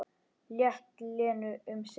Lét Lenu um sitt.